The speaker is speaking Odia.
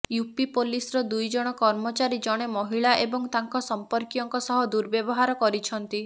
ୟୁପି ପୋଲିସର ଦୁଇ ଜଣ କର୍ମଚାରୀ ଜଣେ ମହିଳା ଏବଂ ତାଙ୍କ ସମ୍ପର୍କୀୟଙ୍କ ସହ ଦୁର୍ବ୍ୟବହାର କରିଛନ୍ତି